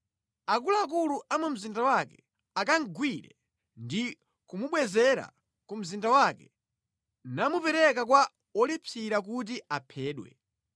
akuluakulu a mu mzinda wake akamugwire ndi kumubwezera ku mzinda wake namupereka kwa wolipsira kuti aphedwe.